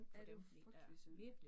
Ja det var frygteligt som